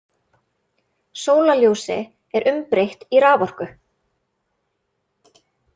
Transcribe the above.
Sólarljósi er umbreytt í raforku.